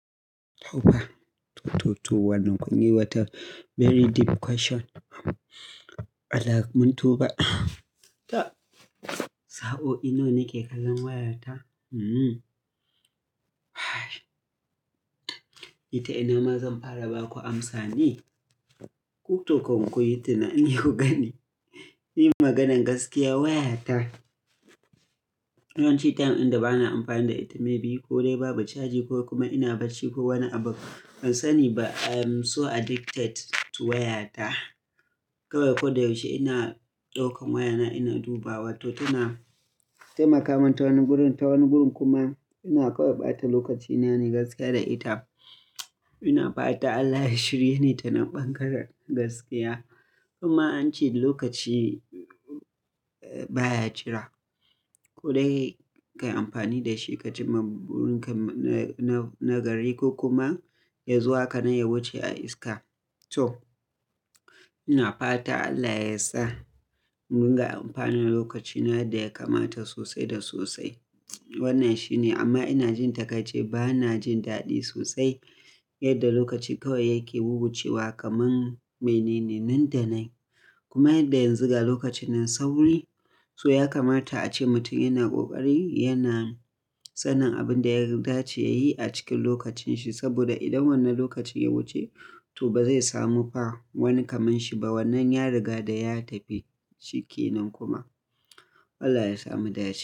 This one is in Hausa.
To fa, to, to, to. Wannan kun yi wata very deep question. Allah mun tuba. To, sa'o'i nawa nake kallon wayata? Hmm. Ni ta ina ma zan fara ba ku amsa ne, ku to kan ku yi tunani ku gani. Ni maganan gaskiya wayata, yawanci time inda bana amfani da ita, maybe ko dai babu caji ko kuma ina barci ko wani abu, ban sani ba. I'm so addicted to wayata. Kawai koyaushe ina ɗaukan wayana ina dubawa to tana taimakawa ni ta wani gurin, ta wani gurin kuma ina kawai ɓata lokacina ne gaskiya da ita. Ina fata Allah ya shirye ni ta nan ɓangaren gaskiya. Kuma ance lokaci baya jira, ko dai ka yi amfani da shi ka cinma burinka na, na gari ko kuma ya zo haka nan ya wuce a iska. To, ina fata Allah ya sa mu riƙa amfani da lokacina yadda ya kamata sosai da sosai. Wannan shi ne amma ina jin takaici bana jin daɗi sosai yadda lokaci kawai yake wubucewa kamar mene ne nan da nan. Kuma yadda yanzu ga lokaci nan sauri, to ya kamata ace mutum yana ƙoƙari yana sanin abin da ya dace ya yi a cikin lokacinshi saboda idan wannan lokacin ya wuce to ba zai samu fa wani kamar shi ba, wannan ya riga da ya tafi shike nan kuma. Allah ya samu daci.